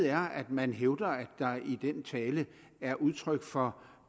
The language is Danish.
er at man hævder at der i den tale er udtryk for